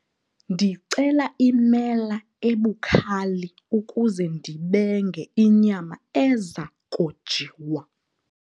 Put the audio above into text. Ndicela imela ebukhali ukuze ndibenge inyama eza kojiwa.